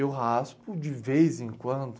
Eu raspo de vez em quando.